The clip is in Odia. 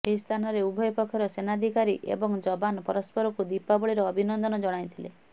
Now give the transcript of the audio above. ଏହି ସ୍ଥାନରେ ଉଭୟ ପକ୍ଷର ସେନାଧିକାରୀ ଏବଂ ଯବାନ ପରସ୍ପରକୁ ଦୀପାବଳିର ଅଭିନନ୍ଦନ ଜଣାଇଥିଲେ